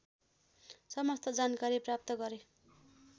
समस्त जानकारी प्राप्त गरे